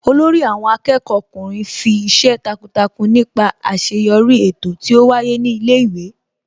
Olórí àwọn akẹ́kọ̀ọ́ ọkùnrin fi ìṣe takuntakun nípa àṣeyọrí eto tí ó wáyé ní ilé ìwé